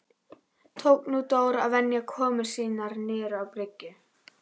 Tók nú Dór að venja komur sínar niður á bryggju.